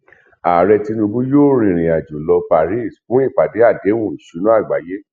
ààrẹ tinubu yóò rìnrìnàjò lo paris fún ìpàdé àdéhùn ìṣúná àgbáyé